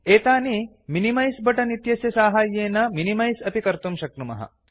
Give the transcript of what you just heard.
एतानि minimise button इत्यस्य साहाय्येन मिनिमैस् अपि कर्तुं शक्नुमः